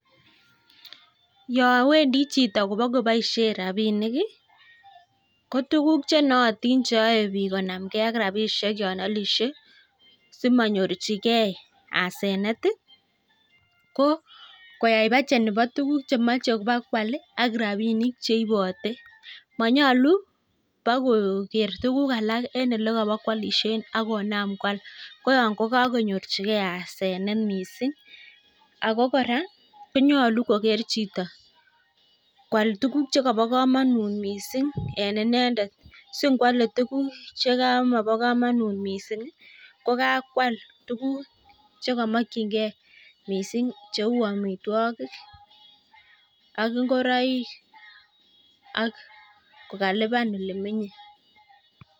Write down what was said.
Yo wendi chito kobokoboishe rabinik ko tukuk che noatin cheyaei biik konamgei ak tabishek yon alishei simanyorchiokei asenet, ko koyai budget neno tukuk chemochei bokoal ak rabinik cheipotei. Manyolu bakoker tukuk alak eng olekabakoalishe ak konam koal ko yotok kokakonyorchigei asenet neo mising. Akop kora konyolu koker chito koal tukuk chekabo kamonut mising eng inendet si koalei tukuk che mabo komonut mising kokakoal chekamokchingei mising cheu amitwagik ak ingoroik ak kalipan yun menyei.